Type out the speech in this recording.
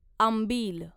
आंबील